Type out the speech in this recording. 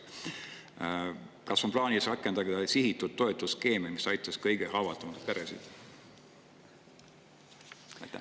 Kas on plaanis rakendada sihitud toetuste skeemi, mis aitaks kõige haavatavamaid peresid?